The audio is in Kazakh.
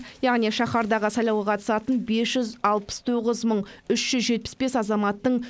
яғни шаһардағы сайлауға қатысатын бес жүз алпыс тоғыз мың үш жүз жетпіс бес азаматтың